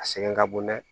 A sɛgɛn ka bon dɛ